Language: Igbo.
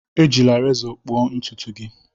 Ejila rezọ kpụọ ntutu gị